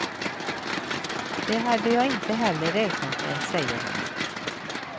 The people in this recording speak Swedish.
Det hade jag inte heller räknat med, säger han.